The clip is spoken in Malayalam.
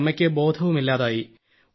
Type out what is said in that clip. പിന്നെ അമ്മയ്ക്ക് ബോധവുമില്ലതായി